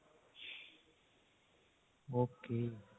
okay